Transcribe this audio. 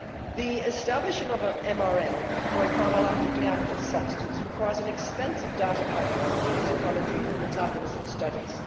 The establishing of an MRL for a pharmacologically active substance requires an expensive data package of toxicology and metabolism studies.